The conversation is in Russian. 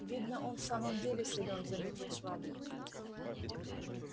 видно он в самом деле силён заметил швабрин